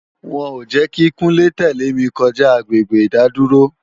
Wọn ò jẹ́ kí Kúnlé tẹ̀lé mi kọjá agbègbè ìdádúró